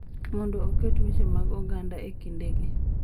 Mondo oket weche mag oganda e kindegi,